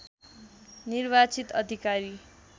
निर्वाचित अधिकारी